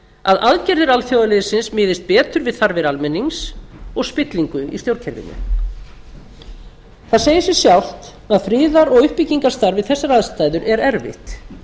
að aðgerðir alþjóðaliðsins miðist betur við þarfir almennings og spillingu í stjórnkerfinu það segir sig sjálft að friðar og uppbyggingastarf við þessar aðstæður er erfitt